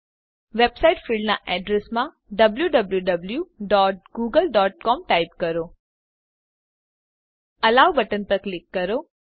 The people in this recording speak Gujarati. વેબસાઈટ ફીલ્ડનાં એડ્રેસમાં w w w dot Google dot C O M type કરો એલો બટન પર ક્લિક કરો